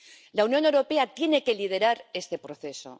La Unión Europea tiene que liderar este proceso.